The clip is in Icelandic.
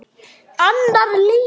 Annar leikur